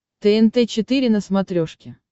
тнт четыре на смотрешке